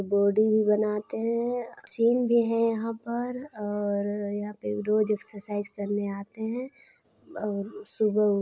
body भी बनाते है अ अ मशीन भी यहाँ पर अअअ और यहाँ रोज एक्सरसाइज करने आते है और अ सुबह--